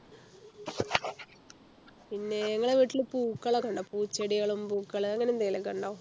പിന്നെ നിങ്ങളുടെ വീട്ടിൽ പൂക്കൾ ഒക്കെയുണ്ടോ പൂച്ചെടികളും പൂക്കൾ അങ്ങനെ എന്തെങ്കിലും ഉണ്ടോ